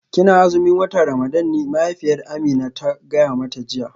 Kina azumin watan Ramadan ne mahaifiyar Amina ta gaya mata jiya